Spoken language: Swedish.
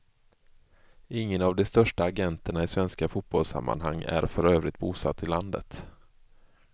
Ingen av de största agenterna i svenska fotbollssammanhang är för övrigt bosatt i landet.